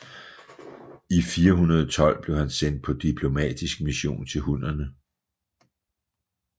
I 412 blev han sendt på diplomatisk mission til hunnerne